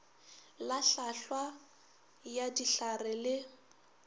la hlwaahlwa ya dihlare le